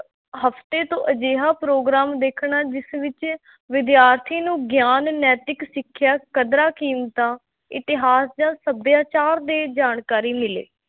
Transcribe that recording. ਹਫ਼ਤੇ ਤੋਂ ਅਜਿਹਾ ਪ੍ਰੋਗਰਾਮ ਦੇਖਣਾ, ਜਿਸ ਵਿੱਚ ਵਿਦਿਆਰਥੀ ਨੂੰ ਗਿਆਨ, ਨੈਤਿਕ ਸਿੱਖਿਆ, ਕਦਰਾਂ-ਕੀਮਤਾਂ, ਇਤਿਹਾਸ ਜਾਂ ਸਭਿਆਚਾਰ ਦੇ ਜਾਣਕਾਰੀ ਮਿਲੇ।